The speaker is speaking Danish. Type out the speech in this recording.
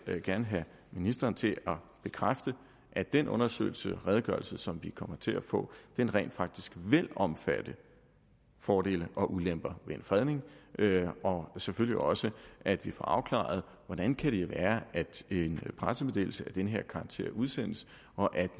jeg gerne have ministeren til at bekræfte at den undersøgelse og redegørelse som vi kommer til at få rent faktisk vil omfatte fordele og ulemper ved en fredning og selvfølgelig også at vi får afklaret hvordan det kan være at en pressemeddelelse af den her karakter udsendes og at